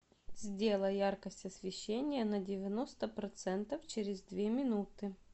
сделай яркость освещения на девяносто процентов через две минуты